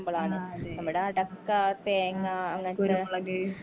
ആ അതെ കുരുമുളക്